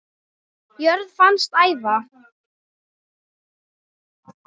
jörð fannst æva